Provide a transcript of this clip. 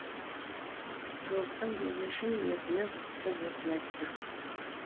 жолыққан кезде шын ниетімен құтты болсын айтты